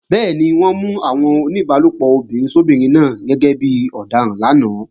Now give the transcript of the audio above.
Bẹ́ẹ̀ni, wọ́n mú àwọn oníbálòpọ̀ obìnrin sóbinrin náà gẹ́gẹ́ bí ọ̀daràn lánàá